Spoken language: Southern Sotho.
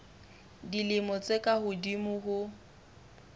dilemo tse ka hodimo ho